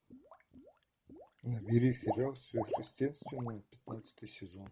набери сериал сверхъестественное пятнадцатый сезон